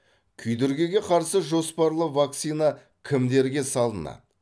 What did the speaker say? күйдіргіге қарсы жоспарлы вакцина кімдерге салынады